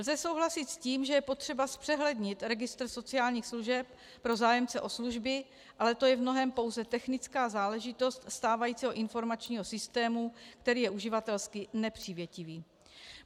Lze souhlasit s tím, že je potřeba zpřehlednit registr sociálních služeb pro zájemce o služby, ale to je v mnohém pouze technická záležitost stávajícího informačním systému, který je uživatelsky nepřívětivý.